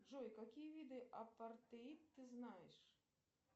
джой какие виды апартеид ты знаешь